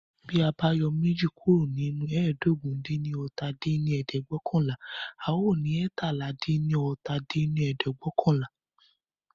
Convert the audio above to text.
Bí a yọ méjì kúrò nínú ẹ́ẹdógún-dín-ní-ọ́ta dín ní ẹ̀ẹ́dẹ́gbẹ́ọ̀kànlá, a ò ní eétalá-dín-ní-ọ́ta dín ní ẹ̀ẹ́dẹ́gbẹ́ọ̀kànlá